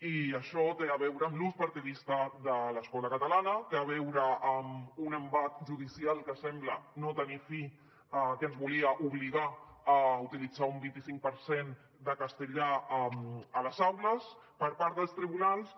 i això té a veure amb l’ús partidista de l’escola catalana té a veure amb un embat judicial que sembla no tenir fi que ens volia obligar a utilitzar un vint i cinc per cent de castellà a les aules per part dels tribunals que